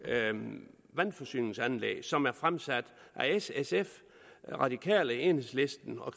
almene vandforsyningsanlæg som er fremsat af s sf radikale enhedslisten og